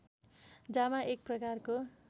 जामा एक प्रकारको